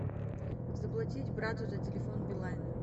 заплатить брату за телефон билайн